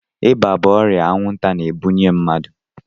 Ịba bụ ọrịa anwụnta na-ebunye mmadụ.